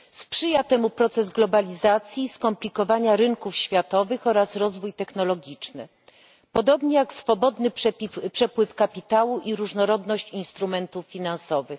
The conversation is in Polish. Sprzyja temu proces globalizacji, skomplikowania rynków światowych oraz rozwój technologiczny, podobnie jak swobodny przepływ kapitału i różnorodność instrumentów finansowych.